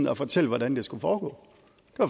at fortælle hvordan det skulle foregå